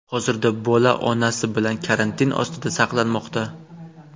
Hozirda bola onasi bilan karantin ostida saqlanmoqda.